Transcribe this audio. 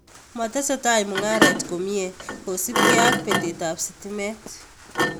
Matesetai mung'aret komyee kosipkee ak peteetab stimeet